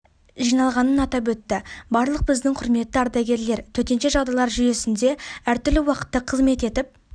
жиналғанын атап өтті барлық біздің құрметті ардагерлер төтенше жағдайлар жүресінде әр түрлі уақытта қызмет етіп